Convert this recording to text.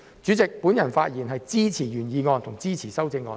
主席，我發言支持原議案和修正案。